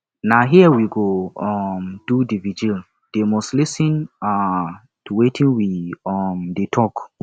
na here we go um do the vigil they must lis ten um to wetin we um dey talk